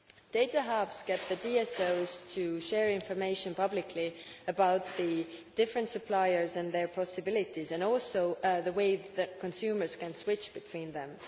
Data hubs get the DSOs to share information publicly about the different suppliers and their possibilities, and also about the way that consumers can switch between them.